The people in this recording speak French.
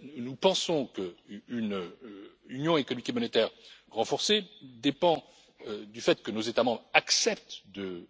Nous pensons qu'une Union économique et monétaire renforcée dépend du fait que nos États membres acceptent de